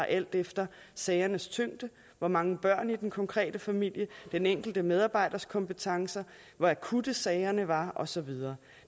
alt efter sagernes tyngde hvor mange børn i den konkrete familie den enkelte medarbejders kompetencer hvor akutte sagerne var og så videre